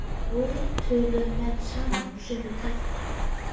Svo töluðu menn saman og sumir tefldu.